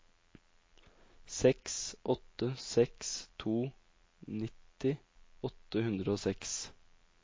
seks åtte seks to nitti åtte hundre og seks